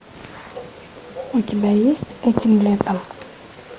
у тебя есть этим летом